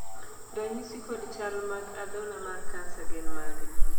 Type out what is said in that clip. ranyisi kod chal mag adhola mar kansa gin mage?